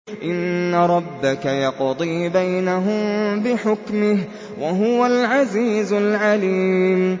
إِنَّ رَبَّكَ يَقْضِي بَيْنَهُم بِحُكْمِهِ ۚ وَهُوَ الْعَزِيزُ الْعَلِيمُ